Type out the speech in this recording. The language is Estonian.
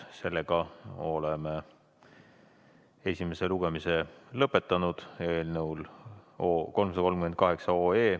Oleme eelnõu 338 esimese lugemise lõpetanud.